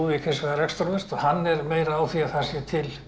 hins vegar lestrarhestur hann er meira á því að það sé til